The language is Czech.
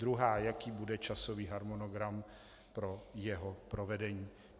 Druhá - jaký bude časový harmonogram pro jeho provedení?